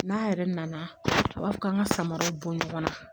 N'a yɛrɛ nana a b'a fɔ k'an ka samaraw bɔ ɲɔgɔn na